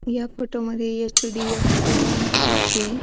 या फोटोमध्ये H D F C bank दिसतीये.